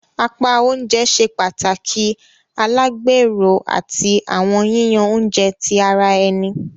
Apá oúnjẹ ṣe pàtàkì alagbero, àti awọn yiyan oúnjẹ ti ara ẹni.